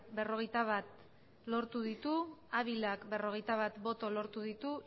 berrogeita bat lortu ditu ávila berrogeita bat boto lortu ditu